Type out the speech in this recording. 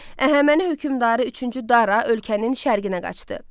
Əhəməni hökmdarı üçüncü Dara ölkənin şərqinə qaçdı.